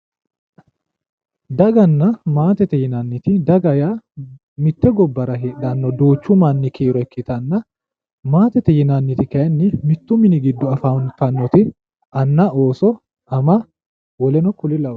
Daganna maatete yinanniti, daga yaa mitte gibbara heedhanno duuchu manni kiiro ikkitanna, maatete yinanniti kayiinni mittu mini giddo afantanno anna Ooso ama woleno kuri lawannore.